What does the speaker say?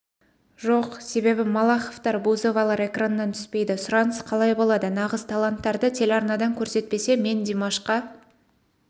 жоқ себебі малаховтар бузовалар экраннан түспейді сұраныс қалай болады нағыз таланттарды телеарнадан көрсетпесе мен димашқа